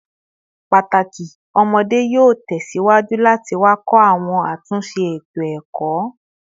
Pataki ọmọde yoo tẹsiwaju lati wakọ awọn atunṣe eto-ẹkọ